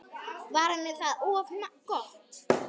Var henni það of gott?